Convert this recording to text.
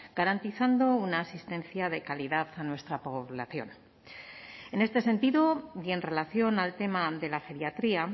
garantizando una asistencia de calidad a nuestra población en este sentido y en relación al tema de la geriatría